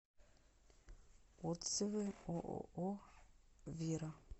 отзывы ооо вира